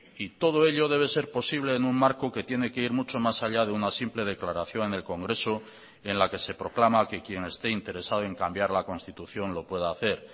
y todo ello debe ser posible en un marco que tiene que ir mucho más allá de una simple declaración en el congreso en la que se proclama que quien esté interesado en cambiar la constitución lo pueda hacer